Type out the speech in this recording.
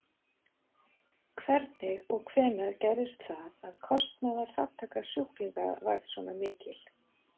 Hvernig og hvenær gerðist það að kostnaðarþátttaka sjúklinga varð svona mikil?